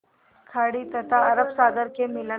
खाड़ी तथा अरब सागर के मिलन